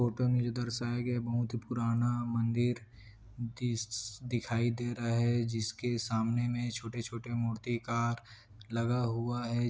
Photo में जो दर्शाए गए बहुत पुराना मंदिर दिस दिखाई दे रहा है जिसके सामने में छोटे-छोटे मूर्ति कार लगा हुआ है।